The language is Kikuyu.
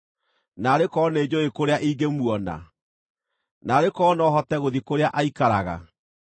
Naarĩ korwo nĩnjũũĩ kũrĩa ingĩmuona; Naarĩ korwo no hote gũthiĩ kũrĩa aikaraga!